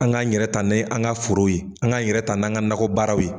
An g'an yɛrɛ ta ni an ga forow ye an g'an yɛrɛ ta n'an ka nakɔ baaraw ye